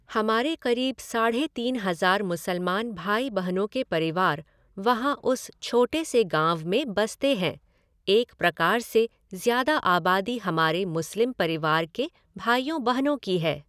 हमारे क़रीब साढ़े तीन हज़ार मुसलमान भाई बहनों के परिवार वहाँ उस छोटे से गाँव में बसते हैं, एक प्रकार से ज़्यादा आबादी हमारे मुस्लिम परिवार के भाइयों बहनों की है।